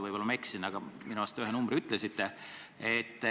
Võib-olla ma eksin, aga minu arust te ühe numbri ütlesite.